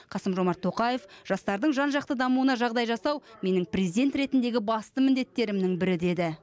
қасым жомарт тоқаев жастардың жан жақты дамуына жағдай жасау менің президент ретіндегі басты міндеттерімнің бірі деді